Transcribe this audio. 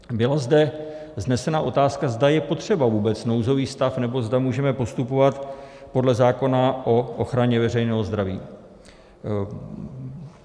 Byla zde vznesena otázka, zda je potřeba vůbec nouzový stav, nebo zda můžeme postupovat podle zákona o ochraně veřejného zdraví.